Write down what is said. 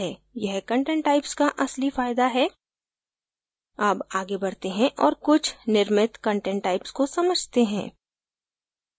यह content types का असली फायदा है अब आगे बढते हैं और कुछ निर्मित content types को समझते हैं